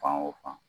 Fan o fan